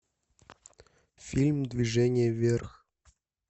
фильм движение вверх